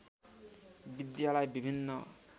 विद्यालय विभिन्न